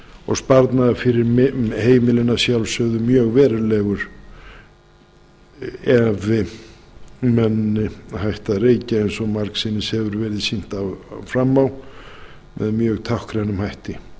og sparnaður fyrir heimilin að sjálfsögðu mjög verulegur ef menn hætta að reykja eins og margsinnis hefur verið sýnt fram á með mjög táknrænum hætti